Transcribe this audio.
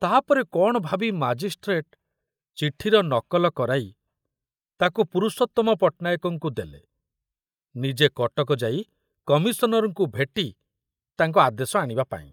ତାପରେ କଣ ଭାବି ମାଜିଷ୍ଟ୍ରେଟ ଚିଠିର ନକଲ କରାଇ ତାକୁ ପୁରୁଷୋତ୍ତମ ପଟ୍ଟନାୟକଙ୍କୁ ଦେଲେ ନିଜେ କଟକ ଯାଇ କମିଶନରଙ୍କୁ ଭେଟି ତାଙ୍କ ଆଦେଶ ଆଣିବା ପାଇଁ।